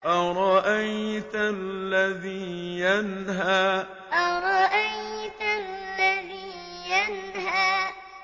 أَرَأَيْتَ الَّذِي يَنْهَىٰ أَرَأَيْتَ الَّذِي يَنْهَىٰ